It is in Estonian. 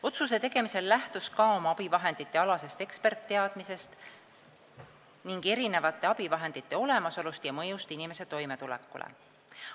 Otsuse tegemisel lähtus SKA oma abivahenditealastest eksperditeadmistest ning erinevate abivahendite olemasolust ja mõjust inimese toimetulekule.